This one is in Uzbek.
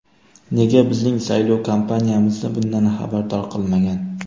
Nega bizning saylov kampaniyamizni bundan xabardor qilmagan?